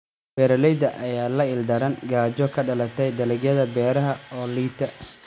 Beeraleyda ayaa la ildaran gaajo ka dhalatay dalagyada beeraha oo liita.